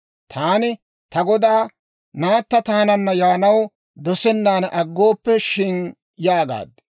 Taani ta godaa, ‹Naatta taananna yaanaw dosennan aggooppe shin?› yaagaad.